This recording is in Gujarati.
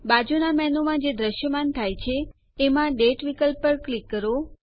બાજુના મેનૂમાં જે દ્રશ્યમાન થાય છે એમાં દાતે વિકલ્પ પર ક્લિક કરો